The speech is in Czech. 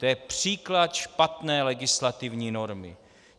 To je příklad špatné legislativní normy.